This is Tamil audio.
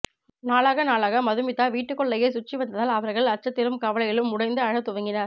நாளாக நாளாக மதுமிதா வீட்டுக்குள்ளேயே சுற்றி வந்ததால் அவர்கள் அச்சத்திலும் கவலையிலும் உடைந்து அழத் துவங்கினர்